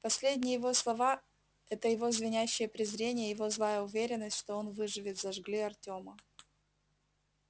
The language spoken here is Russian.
последние его слова это его звенящее презрение его злая уверенность что он выживет зажгли артёма